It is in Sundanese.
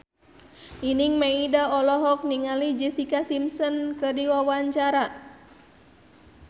Nining Meida olohok ningali Jessica Simpson keur diwawancara